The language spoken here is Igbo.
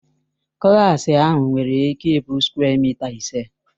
Klaasị ahụ nwere ịke ị bụ sukwe mịta ise.